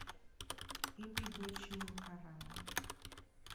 Ibi go chiwo karang'o?